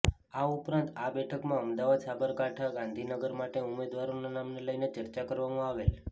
આ ઉપરાંત આ બેઠકમાં અમદાવાદ સાબરકાંઠા ગાંધીનગર માટે ઉમેદવારોના નામને લઈને ચર્ચા કરવામાં આવેલ